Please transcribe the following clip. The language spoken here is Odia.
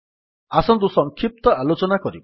ଆସନ୍ତୁ ସଂକ୍ଷିପ୍ତ ଆଲୋଚନା କରିବା